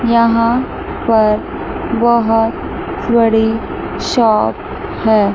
यहां पर बहोत बड़ी शॉप है।